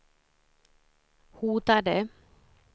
hotade